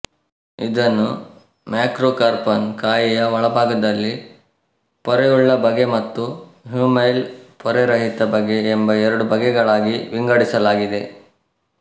ಇದನ್ನು ಮ್ಯಾಕ್ರೊಕಾರ್ಪಾನ್ ಕಾಯಿಯ ಒಳಭಾಗದಲ್ಲಿ ಪೊರೆಯುಳ್ಳ ಬಗೆ ಮತ್ತು ಹ್ಯೂಮೈಲ್ ಪೊರೆರಹಿತ ಬಗೆ ಎಂಬ ಎರಡು ಬಗೆಗಳಾಗಿ ವಿಂಗಡಿಸಲಾಗಿದೆ